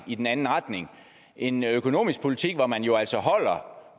i den anden retning en økonomisk politik hvor man jo altså holder